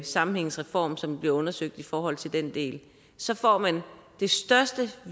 sammenhængsreform som bliver undersøgt i forhold til den del så får man det største